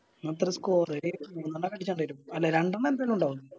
ഇന്നത്രേയ Score ഒര് മൂന്നെണ്ണോക്കെ അടിച്ചും എന്തായാലും അല്ല രണ്ടെണ്ണം എന്തായാലും ഇണ്ടാവും